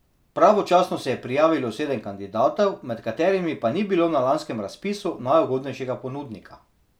Pravočasno se je prijavilo sedem kandidatov, med katerimi pa ni bilo na lanskem razpisu najugodnejšega ponudnika.